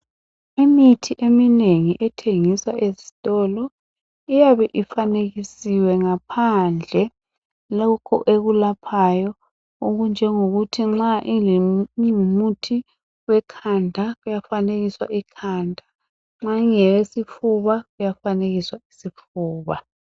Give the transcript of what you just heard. Imithi eminengi ethengiswa ezitolo iyabe ifanekisiwe ngaphandle lokho ekulaphayo, okunjengokuthi nxa kungumuthi wekhanda kuyafanekiswa ikhanda, nxa ingeyesifuba, kuyafanekiswa isifuba.